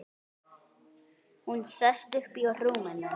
Hún sest upp í rúminu.